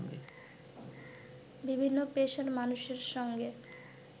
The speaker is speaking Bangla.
বিভিন্ন পেশার মানুষের সঙ্গে